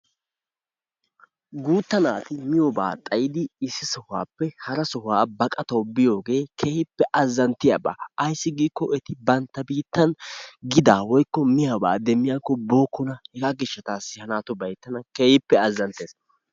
Guutta naati miyobaa xayidi issi sohuwappe hara sohuwa baqatawu biyogee keehippe azzanttiyaba. Ayssi giikko eti bantta biittan gidaa woykko miyobaa demmiyakko bookkona. Hegaa gishshataassi ha naatubay tana keehippe azzanssees.